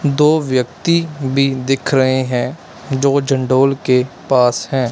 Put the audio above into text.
दो व्यक्ति भी दिख रहे हैं जो के पास है।